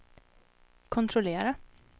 kontrollera